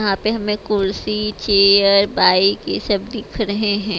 यहां पे हमें कुर्सी चेयर बाइक ये सब दिख रहे हैं।